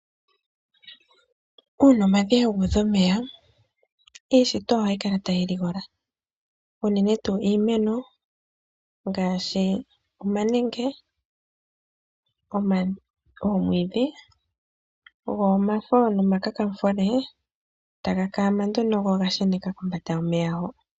Uuna omadhiya guudha omeya, iishitwa ohayi kala tayi ligola unene tuu iimeno ngaashi: omanenge, oomwiidhi go omavo nomakamufule taga kaama nduno go oga sheneka kombanda yomeya ho.